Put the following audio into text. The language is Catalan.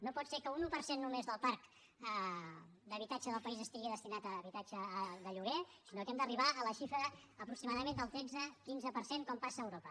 no pot ser que un un per cent només del parc d’habitatge del país estigui destinat a habitatge de lloguer sinó que hem d’arribar a la xifra aproximadament del tretze quinze per cent com passa a europa